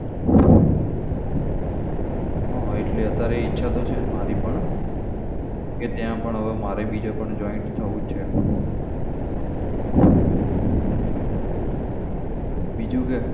હા એટલે અત્યારે ઈચ્છા તો છે જ મારી પણ કે ત્યાં પણ હવે મારે ભી join થવું જ છે એમ હમ બીજું કે.